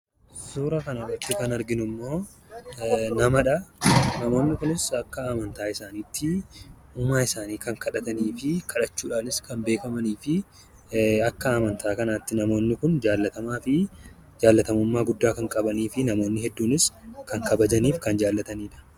Suuraa kanarratti kan arginu namadha. Namoonni kunis akka amantaa isaaniitti uumaa isaanii kan kadhatanii fi kadhachuudhaanis kan beekamaniidha. Akka amantaa kanaatti namoonni kun jaallatamummaa guddaa kan qabanii fi namoonni hedduunis kan kabajanii fi kan jaallataniidha.